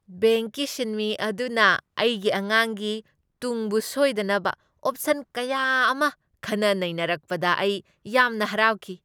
ꯕꯦꯡꯛꯀꯤ ꯁꯤꯟꯃꯤ ꯑꯗꯨꯅ ꯑꯦꯒꯤ ꯑꯉꯥꯡꯒꯤ ꯇꯨꯡꯕꯨ ꯁꯣꯏꯗꯅꯕ ꯑꯣꯞꯁꯟ ꯀꯌꯥ ꯑꯃ ꯈꯟꯅ ꯅꯩꯅꯔꯛꯄꯗ ꯑꯩ ꯌꯥꯝ ꯍꯔꯥꯎꯈꯤ ꯫